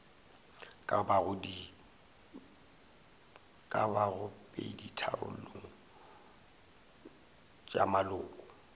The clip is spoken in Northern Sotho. ka bago peditharong tša maloko